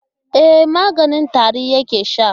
E, maganin tari yake sha.